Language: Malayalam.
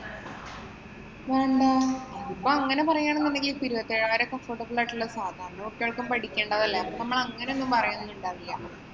വേണ്ട. ഇപ്പം അങ്ങനെ പറയുകയാണെന്നുണ്ടെങ്കില്‍ ഇപ്പൊ ഇരുപത്തിയേഴായിരം ഒക്കെ affordable ആയിട്ടുള്ള എല്ലാവര്‍ക്കും പഠിക്കേണ്ടതല്ലേ. അപ്പൊ നമ്മള് അങ്ങനെയൊന്നും പറയുകയുണ്ടാവില്ല.